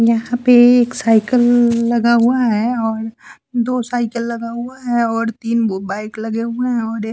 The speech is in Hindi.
यहाँ पे एक साइकिल लगा हुआ है और दो साइकिल लगा हुआ है और तीन बो बाइक लगे हुए हैं और एक --